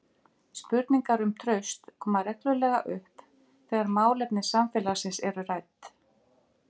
Spurningar um traust koma reglulega upp þegar málefni samfélagsins eru rædd.